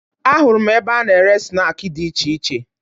Ahụrụ m ebe a na-ere snaakị dị iche iche